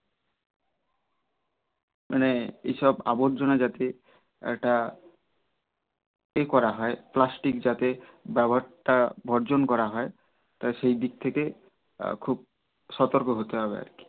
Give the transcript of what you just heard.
মানে এই সব আবর্জনা যাতে একটা প্লাষ্টিক যাতে ব্যবহার টা বর্জন করা হয় সেই দিক থেকে খুব সতর্ক হতে হবে আর কি